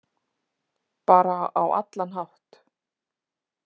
Bara á allan hátt.